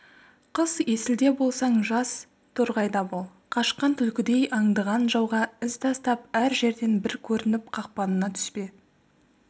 қыс есілде болсаң жаз торғайда бол қашқан түлкідей аңдыған жауға із тастап әр жерден бір көрініп қақпанына түспе